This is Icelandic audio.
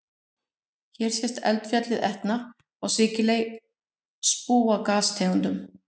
Hér sést eldfjallið Etna á Sikiley spúa gastegundum.